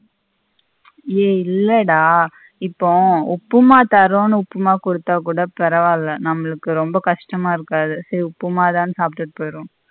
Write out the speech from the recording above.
ஏய் இல்லடா இப்போ உப்புமா தரோணு உப்புமா குடுத்த பரவில்ல நம்மபளுக்கு ரெம்ப கஷ்டம இருக்காது சரி உப்புமதனு சாப்ட்டுட்டு போயிருவோம்.